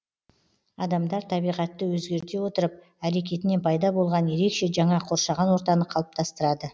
адамдар табиғатты өзгерте отырып әрекетінен пайда болған ерекше жаңа қоршаған ортаны қалыптастырады